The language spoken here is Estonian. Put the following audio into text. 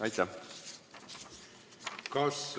Aitäh!